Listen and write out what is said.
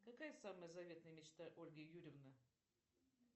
какая самая заветная мечта ольги юрьевны